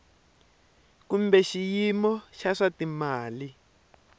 kumbe xiyimo xa swa timali